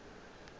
ye nngwe ya re ke